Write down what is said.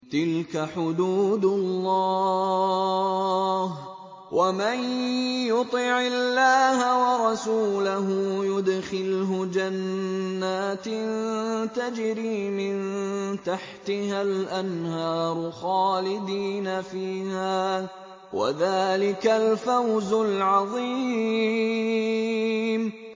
تِلْكَ حُدُودُ اللَّهِ ۚ وَمَن يُطِعِ اللَّهَ وَرَسُولَهُ يُدْخِلْهُ جَنَّاتٍ تَجْرِي مِن تَحْتِهَا الْأَنْهَارُ خَالِدِينَ فِيهَا ۚ وَذَٰلِكَ الْفَوْزُ الْعَظِيمُ